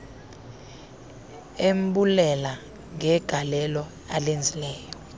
embulela ngegalelo alenzileyo